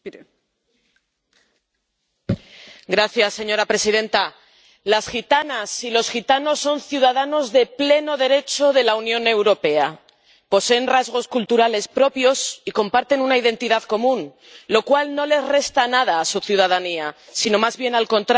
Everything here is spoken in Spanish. Señora presidenta, las gitanas y los gitanos son ciudadanos de pleno derecho de la Unión Europea, poseen rasgos culturales propios y comparten una identidad común, lo cual no le resta nada a su ciudadanía, sino más bien al contrario supone una riqueza para nuestra sociedad.